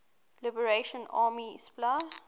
liberation army spla